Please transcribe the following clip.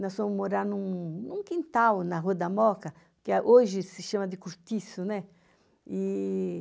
Nós fomos morar em um em um quintal na Rua da Moca, que eh hoje se chama de Cortiço, né? E...